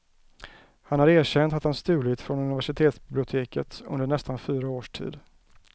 Han har erkänt att han stulit från universitetsbiblioteket under nästan fyra års tid.